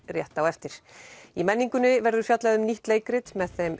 rétt á eftir í Menninguni verður fjallað um nýtt leikrit með þeim